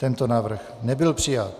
Tento návrh nebyl přijat.